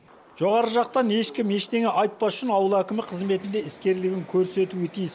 жоғары жақтан ешкім ештеңе айтпас үшін ауыл әкімі қызметінде іскерлігін көрсетуі тиіс